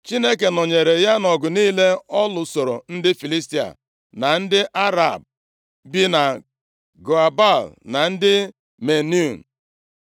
Chineke nọnyeere ya nʼọgụ niile ọ lụsoro ndị Filistia, na ndị Arab bi na Gua Baal na ndị Meunim.